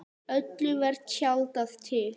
Öllu var tjaldað til.